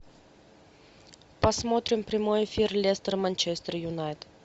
посмотрим прямой эфир лестер манчестер юнайтед